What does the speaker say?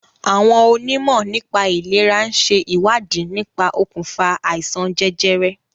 Àwọn onímọ̀ nípà ìlèra ń ṣe ìwádìí nípa okùnfà àìsàn jẹjẹrẹ.